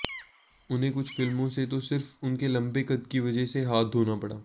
उन्हें कुछ फिल्मों से तो सिर्फ उनके लंबे कद की वजह से हाथ धोना पड़ा